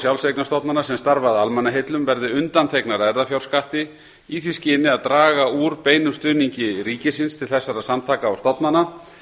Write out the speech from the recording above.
sjálfseignarstofnana sem starfa að almannaheillum verði undanþegnar erfðafjárskatti í því skyni að draga úr beinum stuðningi ríkisins til þessara samtaka og stofnana